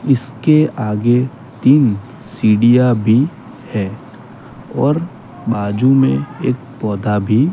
इसके आगे तीन सीढ़ियां भी हैं और बाजू में एक पौधा भी--